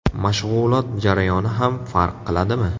Mashg‘ulot jarayoni ham farq qiladimi?